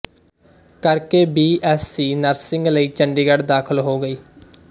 ਕਰਕੇ B S C nursing ਲਈ ਚੰਡੀਗੜ੍ਹ ਦਾਖ਼ਲ ਹੋ ਗਈ